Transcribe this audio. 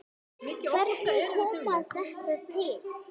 Hvernig kom þetta til?